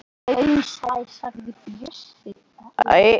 Konan oftar mótfallin, æ ekki núna, börnin, óupplögð, þreytt.